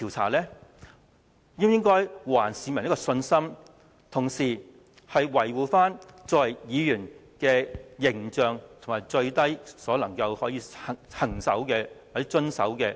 我們應還市民信心，同時維護議員的形象，以及議員最低限度應遵循的底線。